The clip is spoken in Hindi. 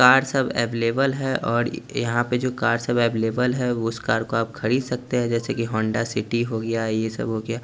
कार सब अवेलेबल और यहां पे जो कार अवेलेबल उस कार को आप खरीद सकते है जैसे की हौंडा सिटी हो गया ये सब हो गया --